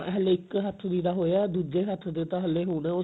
ਹਲੇ ਇੱਕ ਹੱਥ ਦੀ ਦਾ ਹੋਇਆ ਦੁੱਜੇ ਹੱਥ ਦੀ ਤਾਂ ਹਲੇ ਹੋਣਾ ਉਹ ਸਾਲ